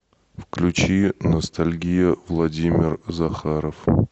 включи ностальгия владимир захаров